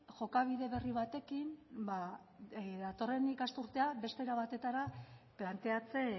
jokabide berri batekin datorren ikasturtea beste era batetara planteatzen